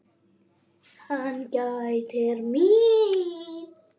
Hann gætir mín.